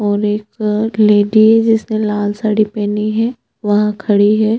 और एक जग लेडीज जिसने लाल साड़ी पहिने है वहाँ खड़ी है।